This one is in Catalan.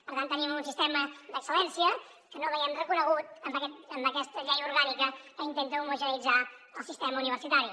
per tant tenim un sistema d’excel·lència que no veiem reconegut en aquesta llei orgànica que intenta homogeneïtzar el sistema universitari